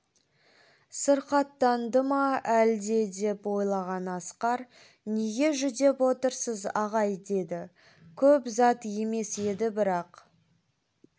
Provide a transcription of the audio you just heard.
сырқаттанды ма әлде деп ойлаған асқар неге жүдеп отырсыз ағай деді көп зат емес еді бірақ